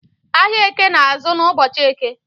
Ahiạ Eke na-azụ n’ ụbọchi Eke